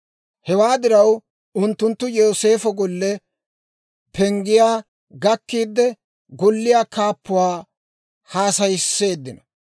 Hewaa diraw unttunttu Yooseefo golle penggiyaa gakkiide, golliyaa kaappuwaa haasayisseeddino;